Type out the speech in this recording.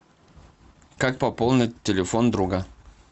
как пополнить телефон друга